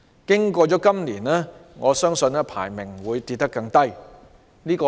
經過了今年，我相信排名會跌得更低"。